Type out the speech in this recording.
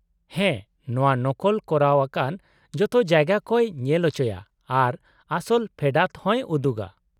ᱦᱮᱸ, ᱱᱚᱶᱟ ᱱᱚᱠᱚᱞ ᱠᱚᱨᱟᱣ ᱟᱠᱟᱱ ᱡᱚᱛᱚ ᱡᱟᱭᱜᱟ ᱠᱚᱭ ᱧᱮᱞ ᱪᱚᱭᱟ ᱟᱨ ᱟᱥᱚᱞ ᱯᱷᱮᱰᱟᱛ ᱦᱚᱸᱭ ᱩᱫᱩᱜᱟ ᱾